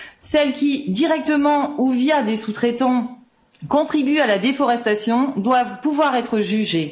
Celles qui, directement ou via des sous traitants, contribuent à la déforestation doivent pouvoir être jugées.